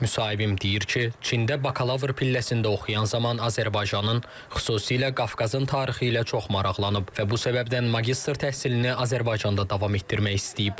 Müsahibim deyir ki, Çində bakalavr pilləsində oxuyan zaman Azərbaycanın, xüsusilə Qafqazın tarixi ilə çox maraqlanıb və bu səbəbdən magistr təhsilini Azərbaycanda davam etdirmək istəyib.